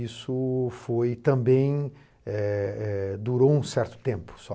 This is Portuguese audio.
Isso foi também eh eh durou um certo tempo só.